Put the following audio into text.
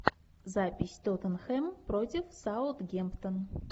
запись тоттенхэм против саутгемптон